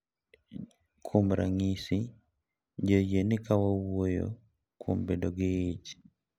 Kuom ranyisi, ji oyie ni ka wawuoyo kuom bedo gi ich, .